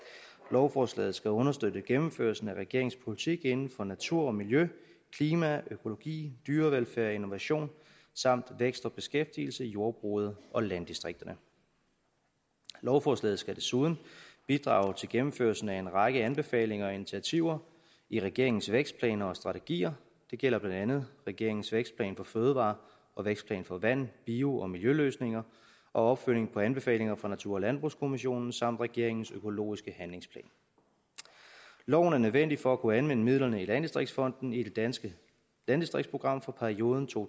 lovforslaget skal understøtte gennemførelsen af regeringens politik inden for natur og miljø klima økologi dyrevelfærd innovation samt vækst og beskæftigelse i jordbruget og landdistrikterne lovforslaget skal desuden bidrage til gennemførelsen af en række anbefalinger og initiativer i regeringens vækstplaner og strategier det gælder blandt andet regeringens vækstplan for fødevarer og vækstplan for vand bio og miljøløsninger og opfølgning på anbefalinger fra natur og landbrugskommissionen samt regeringens økologiske handlingsplan loven er nødvendig for at kunne anvende midlerne i landdistriktsfonden i det danske landdistriktsprogram for perioden to